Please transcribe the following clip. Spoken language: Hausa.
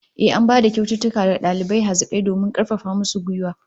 Ehh, an bayar da kyaututtuka ga dalibai hazikai domin karfafa musu gwiwa